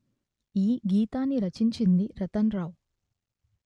ఈ గీతాన్ని రచించినది రతన్ రావు